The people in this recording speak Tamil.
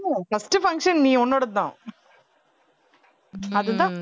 ஆமா first function நீ உன்னோடதுதான் அதுதான்